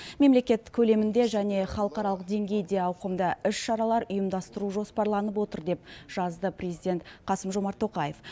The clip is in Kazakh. мемлекет көлемінде және халықаралық деңгейде ауқымды іс шаралар ұйымдастыру жоспарланып отыр деп жазды президент қасым жомарт тоқаев